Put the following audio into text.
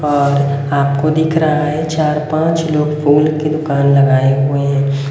और आप को दिख रहा है चार पांच लोग फूल की दुकान लगाए हुए हैं।